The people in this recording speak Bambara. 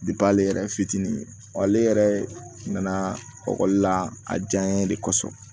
ale yɛrɛ fitinin wa ale yɛrɛ nana la a diya n ye de kosɔn